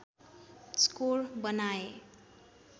score बनाए